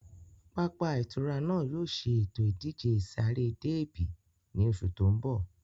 Pápá ìtura náà yóò ṣe ètò ìdíje ìsáré déébì ní oṣù tó ń bọ̀